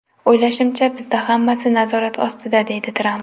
O‘ylashimcha, bizda hammasi nazorat ostida”, deydi Tramp.